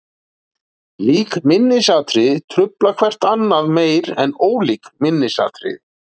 Lík minnisatriði trufla hvert annað meira en ólík minnisatriði.